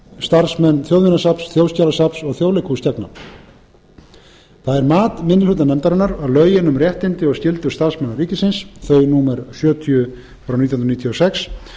starfsmenn þjóðminjasafns þjóðskjalasafns og þjóðleikhúss gegna það er mat minni hluta nefndarinnar að lögin um réttindi og skyldur starfsmanna ríkisins númer sjötíu nítján hundruð níutíu og sex